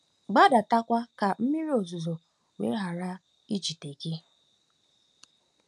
gbadatakwa ka mmiri ozuzo wee ghara ijide gị! ’”